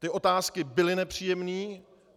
Ty otázky byly nepříjemné.